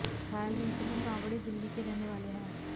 घायल हुए सभी कांवड़िये दिल्ली के रहने वाले हैं